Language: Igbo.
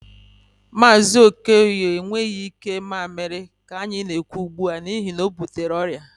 Mazi Okoye enweghị ike mamịrị ka anyị na-ekwu ugbu a, n'ihi na o butere ọrịa